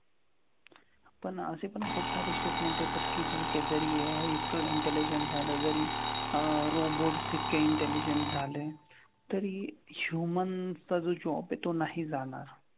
पण असे पण खुपसारे statement येतात की ठीक आहे जरी AI इतकं intelligent झालं जरी अह robots इतके intelligent झाले तरी human चा जो job आहे तो नाही जाणार.